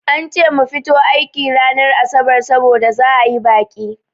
An ce mu fito aiki ranar asabar saboda za'a yi baƙi.